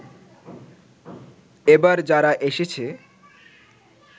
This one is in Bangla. এবার যারা এসেছে